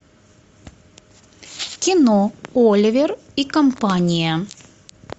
кино оливер и компания